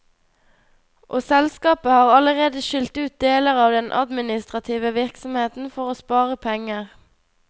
Og selskapet har allerede skilt ut deler av den administrative virksomheten for å spare penger.